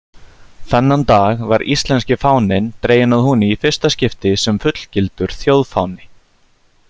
Þennan dag var íslenski fáninn dreginn að húni í fyrsta skipti sem fullgildur þjóðfáni.